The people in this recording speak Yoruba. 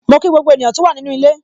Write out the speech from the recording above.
Mo kí gbogbo ènìyàn tó wà nínu ilé.